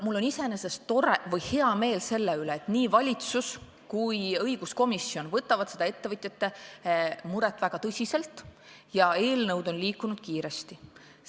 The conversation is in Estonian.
Mul on iseenesest hea meel selle üle, et nii valitsus kui ka õiguskomisjon võtavad seda ettevõtjate muret väga tõsiselt ja eelnõud on liikunud kiiresti edasi.